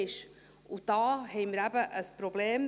Und da haben wir eben ein Problem.